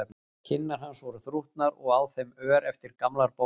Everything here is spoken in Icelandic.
Kinnar hans voru þrútnar og á þeim ör eftir gamlar bólur.